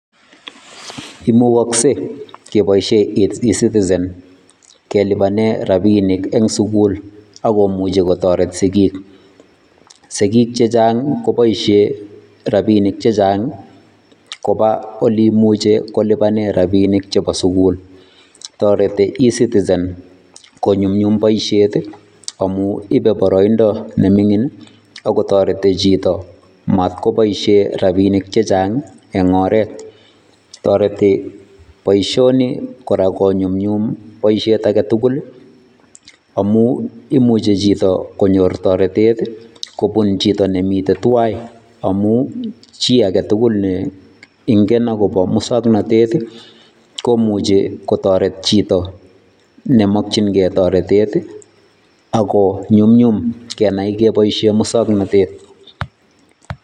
Imukokse keboishen ecitizen kelibanen rabinik en sukul ak komuche kotoret sikiik, sikiik chechang koboishen rabinik chechang koba oleimuche ilibanen rabinik chebo sukul, toreti ecitizen konyumnyum boishet amun ibee boroindo neming'in ak kotoreti chito matkoboishen rabinik chechang eng' oreet, toreti boishoni kora konyumnyum boishet aketukul amun imuche chito konyor toretet kobun chito nemiten tuai amun chii aketukul ne ing'en akobo muswoknotet komuche kotoret chito nemokying'e toretet ak ko nyumnyum keboishen muswoknotet.